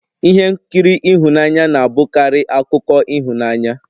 Ihe nkiri ihunanya na-abụkarị akụkọ ịhụnanya